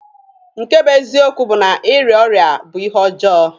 Nke bụ eziokwu bụ na ịrịa ọrịa bụ ihe ọjọọ.